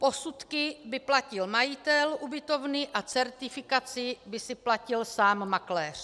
Posudky by platil majitel ubytovny a certifikaci by si platil sám makléř.